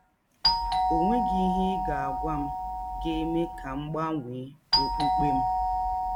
Ọ nweghị ihe ị ga - agwa m ga - eme ka m gbanwee ọkpụkpe m. ”